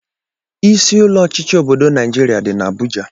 Isi ụlọ ọchịchị obodo Naijiria dị n'Abuja